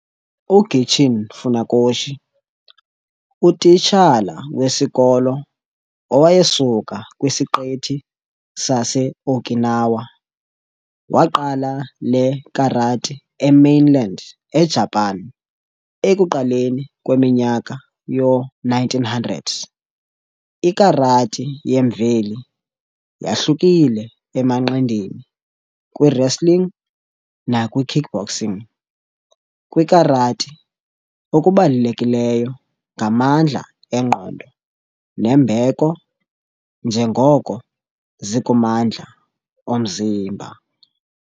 UGichin Funakoshi, utitshala wesikolo owayesuka kwisiqithi saseOkinawa, waqala le karati emainland eJapan ekuqaleni kweminyaka yoo1900. Ikarati yemveli yahlukile emanqindini, kwiwrestling nakwi kickboxing- kwikarati, okubalulekileyo ngamandla engqondo nembeko njengoko zikumandla omzimba.